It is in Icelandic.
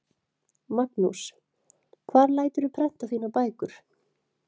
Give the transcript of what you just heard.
Magnús: Hvar læturðu prenta þínar bækur?